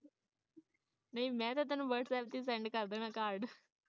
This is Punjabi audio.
ਨਹੀ ਮੈਂ ਤਾ ਤੈਨੂੰ whatsapp ਤੇ send ਕਰ ਦੇਣਾ card